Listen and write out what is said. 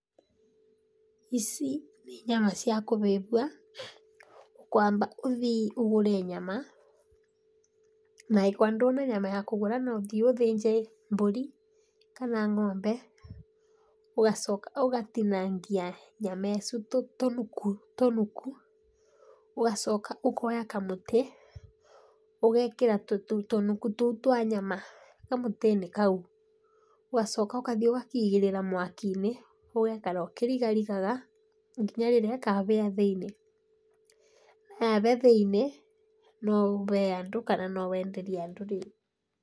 Ici nĩ nyama cia kũhĩhio, ũkwamba ũthii ũgũre nyama, na angĩkorwo ndwĩna nyama ya kũgũra, no ũthii ũthĩnje mbũri kana ng'ombe, ũgacoka ũgatinangia nyama ĩcu tũnuku tũnuku, ũgacoka ũkoya kamũtĩ ũgekĩra tũnuku tũu twa nyama kamũtĩ-inĩ kau, ũgacoka ũkathi ũkaigĩrĩra mwaki-inĩ, ũgekara ũkĩrigarigara nginya rĩrĩa ĩkahĩa thĩini,ĩ na yahĩa thĩiniĩ no ũhe andũ, kana nowenderie andũ rĩũ.